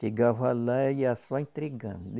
Chegava lá, ia só entregando.